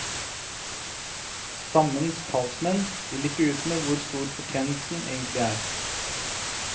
Stammens talsmenn vil ikke ut med hvor stor fortjenesten egentlig er.